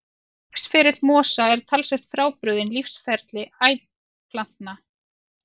Lífsferill mosa er talsvert frábrugðinn lífsferli æðplantna.